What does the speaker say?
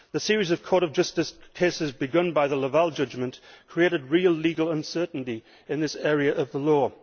The series of Court of Justice cases begun by the Laval Judgement created real legal uncertainty in this area of the law.